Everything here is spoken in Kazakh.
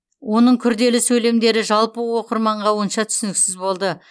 оның күрделі сөйлемдері жалпы оқырманға онша түсініксіз болды